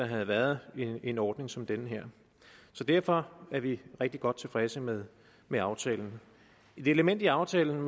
havde været en ordning som den her derfor er vi rigtig godt tilfredse med med aftalen et element i aftalen